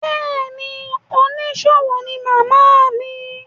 Bẹ́ẹ̀ ni, oníṣòwò ní màmá mi.